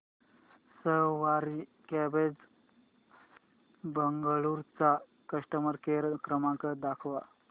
सवारी cabs Bengaluru चा customer care क्रमांक दाखवा